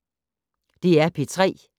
DR P3